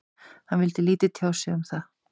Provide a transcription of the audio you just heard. Hann vildi lítið tjá sig um það.